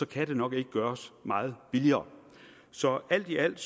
kan nok ikke gøres meget billigere så alt i alt